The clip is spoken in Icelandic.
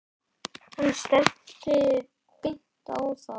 Hann stefndi beint á þá.